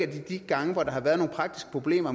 de gange hvor der har været nogle praktiske problemer